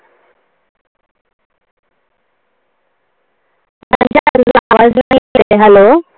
Hello